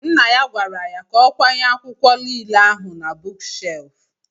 Nna ya gwara ya ka ọ kwanye akwụkwọ nile ahụ na buuk shef